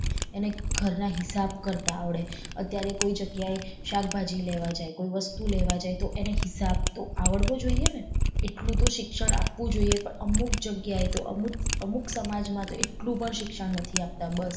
એને ઘર ના હિસાબ કરતા આવળે અત્યારે કોઈ જગ્યાએ શાકભાજી લેવા જાય કોઈ વસ્તુ લેવા જાય તો એને હિસાબ તો આવડવો જોઈએ ને એટલું તો શિક્ષણ આપવું જોઈએ પણ અમુક જગીયાએ તો અમુક અમુક સમાજ માં તો એટલું પણ શિક્ષણ નથી આપતા બસ.